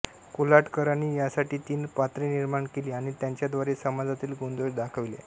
कोल्हटकरांनी यासाठी तीन पात्रे निर्माण केली आणि त्यांच्याद्वारे समाजातील गुण दोष दाखविले